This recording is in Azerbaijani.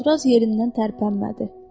Uzunduraz yerindən tərpənmədi.